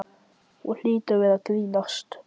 Hún hlýtur að vera að grínast.